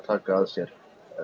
sér